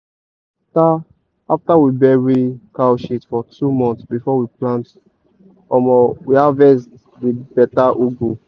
na after after we bury cow shit for two months before we plant omo we harvest di beta ugu.